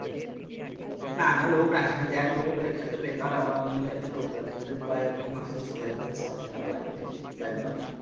না না লোক রাখিনি দেখ লোক রেখে তো বেকার আবার আমু যদি একটা লোক রাখি তালে প্রায় ওকে মাসে ছ হাজার থেকে সাত হাজার টাকা লাগবে তাই লই?